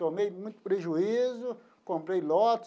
Tomei muito prejuízo, comprei lote,